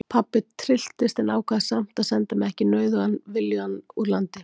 Pabbi trylltist en ákvað samt að senda mig ekki nauðugan viljugan úr landi.